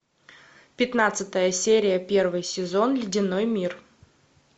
пятнадцатая серия первый сезон ледяной мир